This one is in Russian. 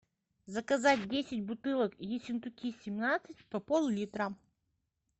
заказать десять бутылок ессентуки семнадцать по поллитра